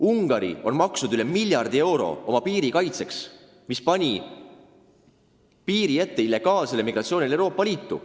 Ungari on maksnud sadu miljoneid eurosid oma piiri kaitseks, tõkestades illegaalse migratsiooni Euroopa Liitu.